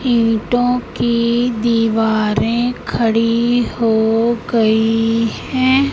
ईंटों की दीवारें खड़ी हो गई हैं।